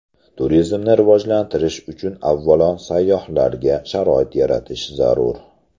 Turizmni rivojlantirish uchun avvalo sayyohlarga sharoit yaratish zarur.